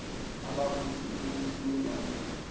ababusi ombusi wendabuko